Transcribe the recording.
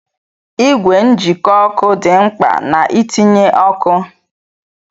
Ìgwè njikọ ọkụ dị mkpa na-itinye ọkụ